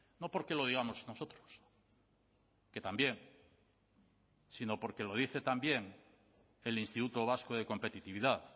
no porque lo digamos nosotros que también sino porque lo dice también el instituto vasco de competitividad